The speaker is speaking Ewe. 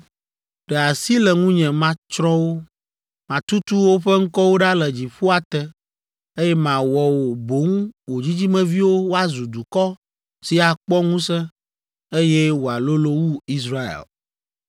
Ɖe asi le ŋunye matsrɔ̃ wo, matutu woƒe ŋkɔwo ɖa le dziƒoa te, eye mawɔ wò boŋ wò dzidzimeviwo woazu dukɔ si akpɔ ŋusẽ, eye wòalolo wu Israel.”